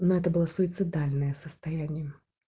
но это было суицидальное состояние